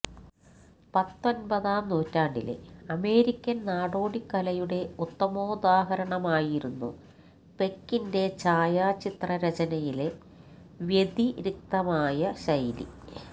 പത്തൊൻപതാം നൂറ്റാണ്ടിലെ അമേരിക്കൻ നാടോടി കലയുടെ ഉത്തമോദാഹരണമായിരുന്നു പെക്കിന്റെ ഛായാചിത്ര രചനയിലെ വ്യതിരിക്തമായ ശൈലി